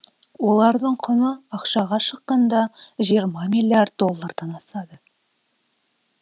олардың құны ақшаға шаққанда жиырма миллиард доллардан асады